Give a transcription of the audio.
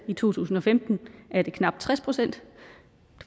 i to tusind og femten var det knap tres procent